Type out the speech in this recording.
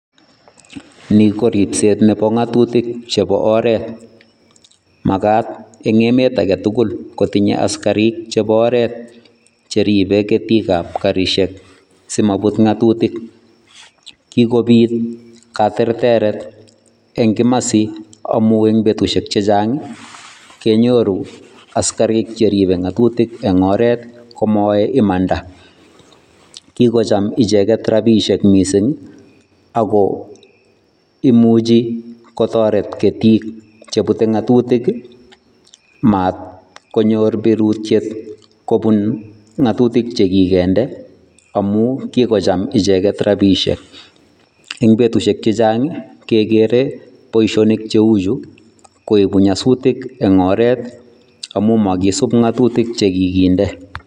Ni koribset nebo ng'atutik chebo oret. Magat eng' emet age tugul kotinye askarik chebo oret cheribe getik ab karishek simabut ng'atutik. Kigobit katerteret eng' kimasi amu eng' betushek chechang' ii kenyoru askarik cheribe ng'atutik eng' oret komoae imanda. Kigocham icheget rabishek missing ii ago imuchi kotoret getik chebute ng'atutik maat konyor berutiet kobun ng'atutik chekigende amu kigocham icheket rabiishek. Eng' betushek chechang kegere boisionik cheu chu koegu nyasutik eng' oret amu makisub ng'atutik che kiginde.